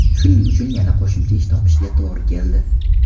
Shuning uchun yana qo‘shimcha ish topishga to‘g‘ri keldi.